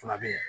Fila bɛ yen